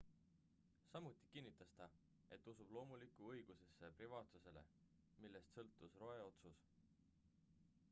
samuti kinnitas ta et usub loomulikku õigusesse privaatsusele millest sõltus roe otsus